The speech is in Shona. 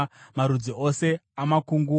marudzi ose amakunguo,